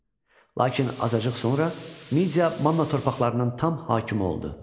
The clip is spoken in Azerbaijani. Lakin azacıq sonra Midiya Manna torpaqlarının tam hakimi oldu.